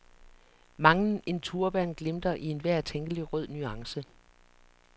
Mangen en turban glimter i enhver tænkelig rød nuance.